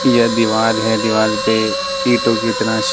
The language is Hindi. यह दीवाल है दीवाल पे ईटों की तरह से--